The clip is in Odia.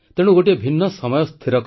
ଗଣତନ୍ତ୍ର ପର୍ବର ଅନେକ ଅନେକ ଶୁଭକାମନା